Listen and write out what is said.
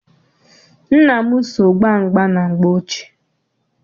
Nna m so gbaa mgba na mgbe ochie.